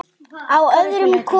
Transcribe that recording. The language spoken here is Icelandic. Á öðrum konum.